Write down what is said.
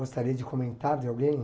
Gostaria de comentar de alguém?